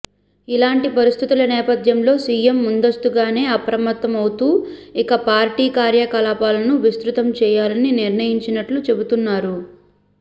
ఇలాంటి పరిస్థితుల నేపధ్యంలో సీఎం ముందస్తుగానే అప్రమత్తమవుతూ ఇక పార్టీ కార్యకలాపాలను విస్తృ తం చేయాలని నిర్ణయించినట్లు చెబుతున్నారు